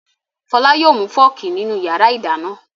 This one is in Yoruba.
Fọlá yóò mú fọ́ọ́kì nínú ìyàrá-ìdáná.